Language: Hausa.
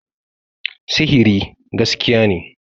sihiri gaskiya ne